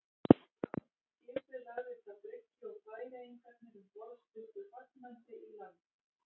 Skipið lagðist að bryggju og færeyingarnir um borð stukku fagnandi í land.